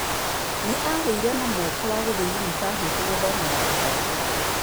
Nĩ aagĩire na mweke wa gũthiĩ yunibacĩtĩ gũthomera ũndagĩtarĩ.